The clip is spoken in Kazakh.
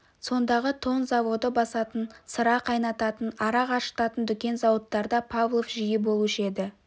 сондағы тон заводы басатын сыра қайнататын арақ ашытатын дүкен зауыттарда павлов жиі болушы еді